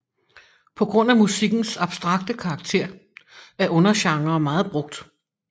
På grund af musikkens abstrakte karakter er undergenrer meget brugt